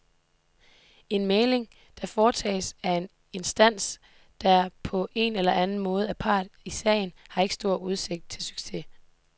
En mægling, der foretages af en instans, der på en eller anden måde er part i sagen, har ikke stor udsigt til succes.